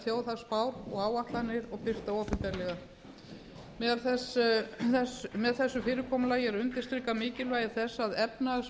þjóðhagsspár og áætlanir og birta opinberlega með þessu fyrirkomulagi er undirstrikað mikilvægi þess að efnahags